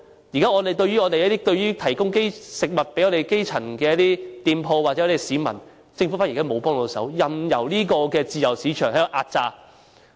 現在對於提供食物給基層店鋪或市民，政府沒有提供協助，任由自由市場壓榨市民。